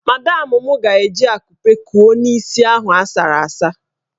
Madamụ mụ ga-eji akupe kuo n'isi ahụ asara asa.